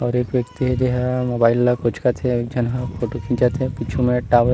और एक व्यक्ति जे ह मोबाइल ला कोचकत हे अउ एक झन ह फोटो खिचत हे पीछू म एक टावर --